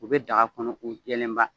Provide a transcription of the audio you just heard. U bɛ daga kɔnɔ u jɛlenba